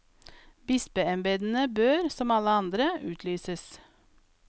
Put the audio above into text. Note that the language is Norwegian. Bispeembedene bør, som alle andre, utlyses.